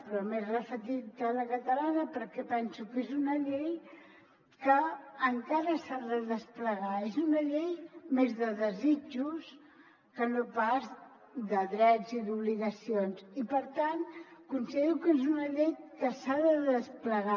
però m’he referit a la catalana perquè penso que és una llei que encara s’ha de desplegar és una llei més de desitjos que no pas de drets i d’obligacions i per tant considero que és una llei que s’ha de desplegar